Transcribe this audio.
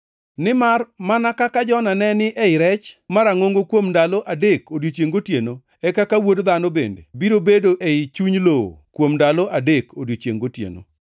Nimar mana kaka Jona ne ni ei rech marangʼongo kuom ndalo adek odiechiengʼ gotieno, e kaka Wuod Dhano bende biro bedo ei chuny lowo kuom ndalo adek odiechiengʼ gotieno.